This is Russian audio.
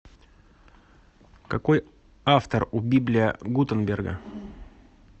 какой автор у библия гутенберга